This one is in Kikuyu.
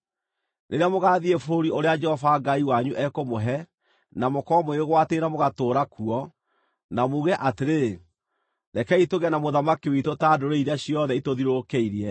Rĩrĩa mũgaathiĩ bũrũri ũrĩa Jehova Ngai wanyu ekũmũhe, na mũkorwo mũwĩgwatĩire na mũgaatũũra kuo, na muuge atĩrĩ, “Rekei tũgĩe na mũthamaki witũ ta ndũrĩrĩ iria ciothe itũthiũrũrũkĩirie,”